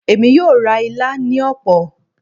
Emi yoo ra ila ni opo